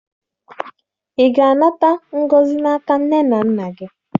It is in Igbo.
Ị ga-anata ngọzi n'aka nne na nna gị?